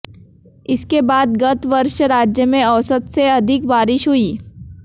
इसके बाद गत वर्ष राज्य में औसत से अधिक बारिश हुई